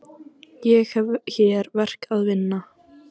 Ég hef hér verk að vinna.